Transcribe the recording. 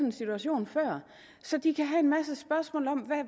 en situation før så de kan have en masse spørgsmål om hvad